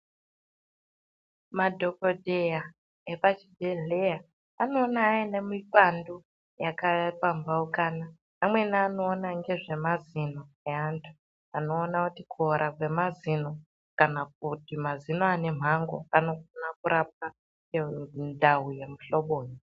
Madhokodheya epachibhedhleya, anoona aine mipandu yakapamhaukana. Amweni anoona ngezvemazino eantu ,anoona kuti kuora kwemazino ,kana kuti mazino ane mhango, anokona kurapwa ngendau yemuhloboyi.